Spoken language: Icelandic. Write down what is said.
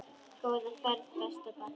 Góða ferð besta barn.